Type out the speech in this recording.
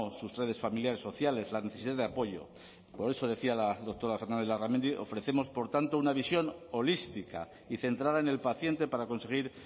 sus redes familiares sociales la necesidad de apoyo por eso decía la doctora fernández larramendi ofrecemos por tanto una visión holística y centrada en el paciente para conseguir